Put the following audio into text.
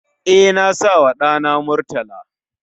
E, na sawa ɗana Murtala